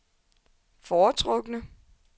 foretrukne